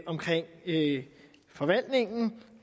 omkring forvaltningen